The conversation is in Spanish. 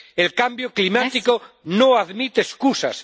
El cambio climático no admite excusas.